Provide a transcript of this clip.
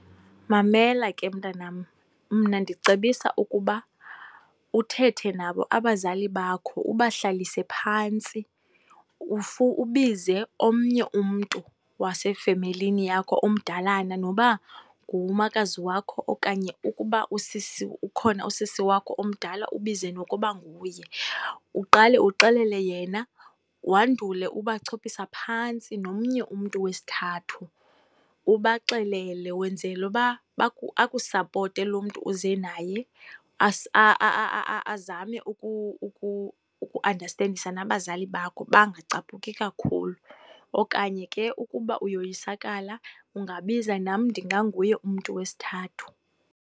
Mamela ke mntanam, mna ndicebisa ukuba uthethe nabo abazali bakho, ubahlalise phantsi. Ubize omnye umntu wasefemelini yakho omdalana noba ngumakazi wakho okanye ukuba usisi, ukhona usisi wakho omdala ubize nokuba nguye. Uqale uxelele yena, wandule ubachophisa phantsi nomnye umntu wesithathu, ubaxelele. Wenzela uba akusapote lo mntu uze naye azame ukuandastendisa nabazali bakho bangacaphuki kakhulu. Okanye ke ukuba uyoyisakala, ungabiza nam, ndinganguye umntu wesithathu.